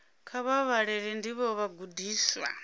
kha vha vhalele ndivho vhagudiswa